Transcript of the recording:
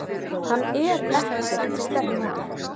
Hann er ekkert sterkur.